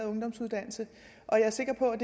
ungdomsuddannelse og jeg er sikker på at